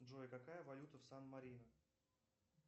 джой какая валюта в сан марино